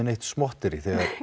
neitt smotterí þegar